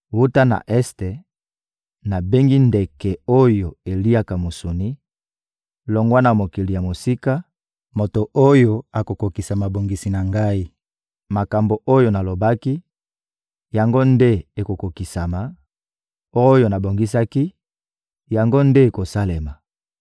Wuta na este, nabengi ndeke oyo eliaka misuni; longwa na mokili ya mosika, moto oyo akokokisa mabongisi na Ngai. Makambo oyo nalobaki, yango nde ekokokisama; oyo nabongisaki, yango nde ekosalema.